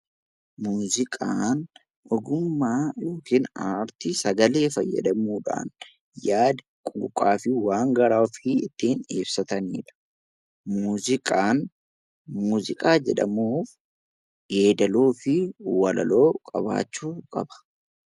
Muuziqaan ogummaa yookiin aartii sagalee fayyadamuudhaan yaada, quuqqaa fi waan garaa ofii ittiin ibsatanidha. Muuziqaan muuziqaa jedhamuuf yeedaloo fi walaloo qabaachuu qaba.